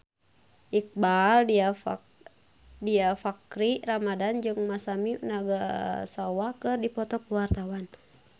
Iqbaal Dhiafakhri Ramadhan jeung Masami Nagasawa keur dipoto ku wartawan